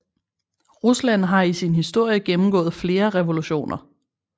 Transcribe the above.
Rusland har i sin historie gennemgået flere revolutioner